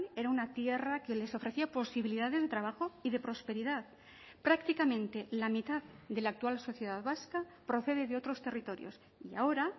era una tierra que les ofrecía posibilidades de trabajo y de prosperidad prácticamente la mitad de la actual sociedad vasca procede de otros territorios y ahora